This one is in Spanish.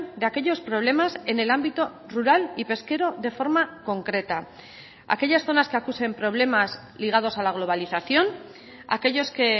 de aquellos problemas en el ámbito rural y pesquero de forma concreta aquellas zonas que acusen problemas ligados a la globalización aquellos que